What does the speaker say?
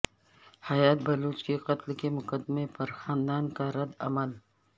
حیات بلوچ کے قتل کے مقدمے پر خاندان کا رد عمل